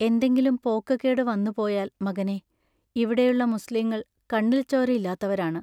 എന്തെങ്കിലും പോക്കകേടു വന്നു പോയാൽ മകനേ, ഇവിടെയുള്ള മുസ്ലീങ്ങൾ കണ്ണിൽച്ചോരയില്ലാത്തവരാണ്.